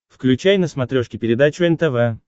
включай на смотрешке передачу нтв